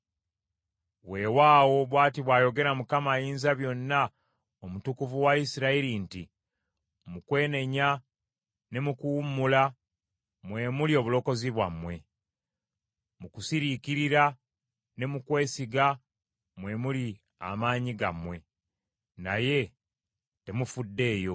Weewaawo bw’ati bw’ayogera Mukama Ayinzabyonna Omutukuvu wa Isirayiri nti, “Mu kwenenya ne mu kuwummula mwe muli obulokozi bwammwe, mu kusiriikirira ne mu kwesiga mwe muli amaanyi gammwe, naye temufuddeeyo.